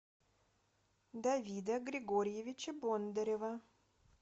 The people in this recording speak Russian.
давида григорьевича бондарева